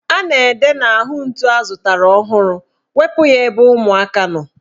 A na-ede n'ahụ ntu azụtara ọhụrụ ''Wepu ya ebe ụmụaka nọ"